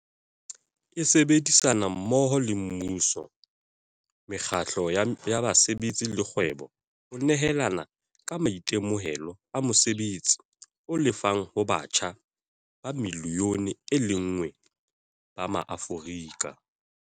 e sebedisana mmoho le mmuso, mekgatlo ya basebetsi le kgwebo ho nehelana ka maitemohelo a mosebetsi o lefang ho batjha ba milione e lenngwe ba maAforika